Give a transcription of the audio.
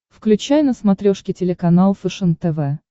включай на смотрешке телеканал фэшен тв